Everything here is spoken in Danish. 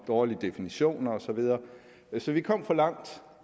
dårlige definitioner og så videre så vi kom for langt